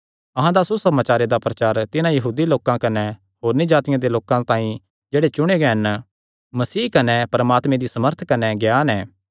अहां दा सुसमाचारे दा प्रचार तिन्हां यहूदी लोकां कने होरनी जातिआं दे लोकां तांई जेह्ड़े चुणेयो हन मसीह कने परमात्मे दी सामर्थ कने ज्ञान ऐ